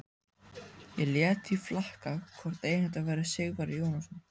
Ég lét því flakka hvort eigandinn væri Sigvarður Jónasson.